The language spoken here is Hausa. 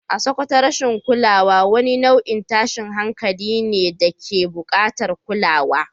A Sakkwato rashin kulawa wani nau’in tashin hankalin ne da ke bukatar kulawa.